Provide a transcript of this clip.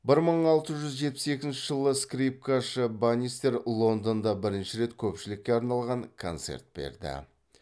бір мың алты жүз жетпіс екінші скрипкашы банистер лондонда бірінші рет көпшілікке арналған концерт берді